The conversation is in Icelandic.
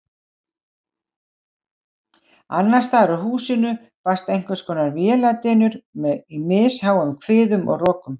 Annarsstaðar úr húsinu barst einhverskonar véladynur í misháum hviðum og rokum.